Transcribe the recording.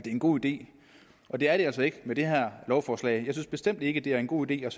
en god idé og det er det altså ikke med det her lovforslag jeg synes bestemt ikke det er en god idé at